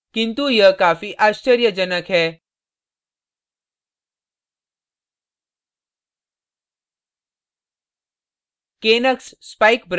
किन्तु यह काफी आश्चर्यजनक है